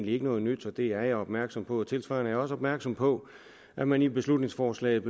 ikke noget nyt og det er jeg opmærksom på tilsvarende er jeg også opmærksom på at man i beslutningsforslaget